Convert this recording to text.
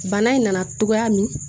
Bana in nana cogoya min